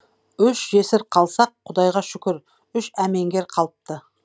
үш жесір қалсақ құдайға шүкір үш әмеңгер қалыпты